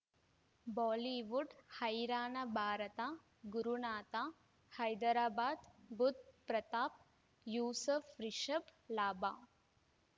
Bollywood ಹೈರಾಣ ಭಾರತ ಗುರುನಾಥ ಹೈದರಾಬಾದ್ ಬುಧ್ ಪ್ರತಾಪ್ ಯೂಸುಫ್ ರಿಷಬ್ ಲಾಭ